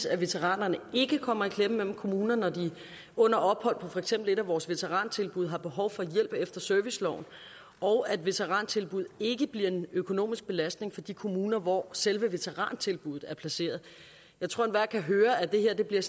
at veteranerne ikke kommer i klemme mellem kommunerne når de under ophold på for eksempel et af vores veterantilbud har behov for hjælp efter serviceloven og at veterantilbuddet ikke bliver en økonomisk belastning for de kommuner hvor selve veterantilbuddet er placeret jeg tror at enhver kan høre at det her bliver